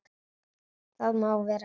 Það má vera rétt.